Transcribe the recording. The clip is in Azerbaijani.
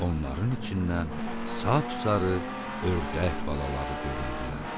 Onların içindən sap-sarı ördək balaları göründülər.